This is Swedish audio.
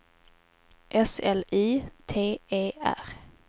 S L I T E R